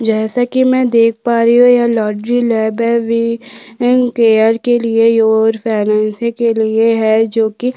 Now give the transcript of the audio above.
जैसा कि मैं देख पा रही हूँ यह लॉटरी लैब है वि यन केयर के लिए ओर फैनैन्सी के लिए है जोकि --